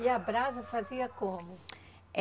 E a brasa fazia como?